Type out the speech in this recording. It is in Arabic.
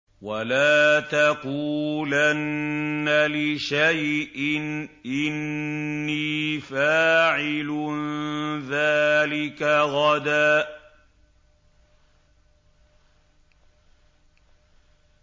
وَلَا تَقُولَنَّ لِشَيْءٍ إِنِّي فَاعِلٌ ذَٰلِكَ غَدًا